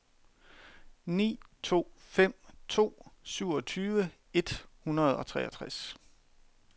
ni to fem to syvogtyve et hundrede og treogtres